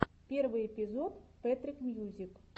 первый эпизод пэтрик мьюзик